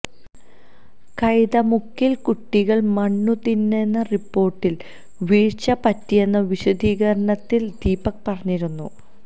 കൈതമുക്കില് കുട്ടികള് മണ്ണു തിന്നെന്ന റിപ്പോര്ട്ടില് വീഴ്ച പറ്റിയെന്ന് വിശദീകരണത്തിൽ ദീപക് പറഞ്ഞിരുന്നു